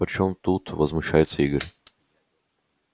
при чём тут возмущается игорь